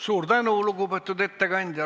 Suur tänu, lugupeetud ettekandja!